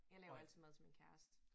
Jeg laver altid mad til min kæreste